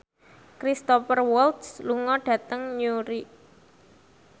Cristhoper Waltz lunga dhateng Newry